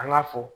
An ga fɔ